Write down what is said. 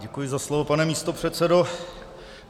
Děkuji za slovo, pane místopředsedo.